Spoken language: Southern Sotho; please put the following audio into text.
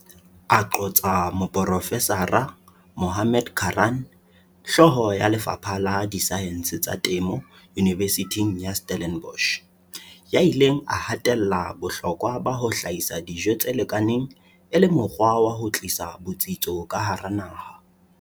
A qotsa moprofesara Mohammad Karaan, hloho ya Lefapha la Disaense tsa Temo Unibesithing ya Stellenbosch, ya ileng a hatella bohlokwa ba ho hlahisa dijo tse lekaneng e le mokgwa wa ho tlisa botsitso ka hara naha.